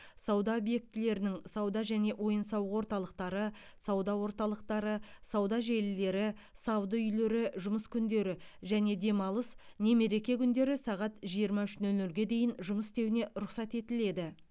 сауда объектілерінің сауда және ойын сауық орталықтары сауда орталықтары сауда желілері сауда үйлері жұмыс күндері және демалыс не мереке күндері сағат жиырма үш нөл нөлге дейін жұмыс істеуіне рұқсат етіледі